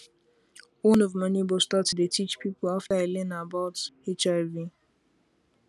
one of my neighbor start to dey teach people after e learn about hiv